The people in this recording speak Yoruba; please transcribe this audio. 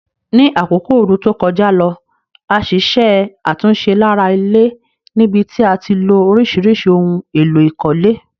Ní àkókò ooru to kojá lo, a ṣiṣẹ́ àtúnse lára ilé níbití a tilo orísìrísì oun élò ìkólé